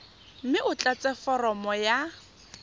mme o tlatse foromo ya